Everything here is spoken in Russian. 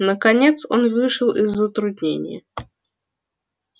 наконец он вышел из затруднения